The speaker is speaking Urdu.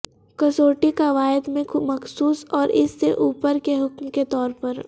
کسوٹی قواعد میں مخصوص اور اس سے اوپر کے حکم کے طور پر